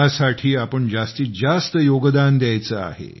यासाठी आपण जास्तीत जास्त योगदान द्यायचे आहे